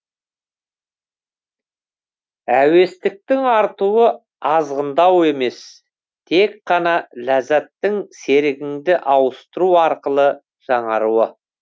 әуестіктің артуы азғындау емес тек қана ләззаттың серігіңді ауыстыру арқылы жаңаруы